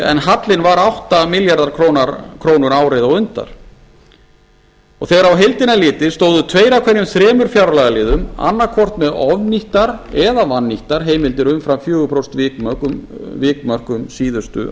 en hallinn var átta milljarðar króna árið á undan þegar á heildina er litið stóðu tveir af hverjum þremur fjárlagaliðum annaðhvort með ofnýttar eða vannýttar heimildir umfram fjögur prósent vikmörk um síðustu